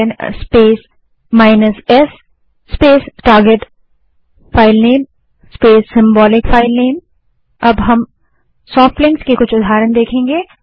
ल्न space s space target filename space symbolic filename अब हम soft links के कुछ उदाहरण देखेंगे